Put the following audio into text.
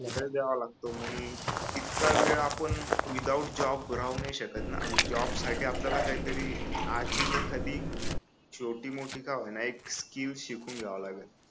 हा वेळ द्यावा लागतो मग इतका वेळ आपण विदाऊट जॉब राहू नाही शकत ना मग जॉब साठी आपल्याला काहीतरी आधी एखादी छोटी मोठी का होईना एक स्किल शिकून घ्याव लागल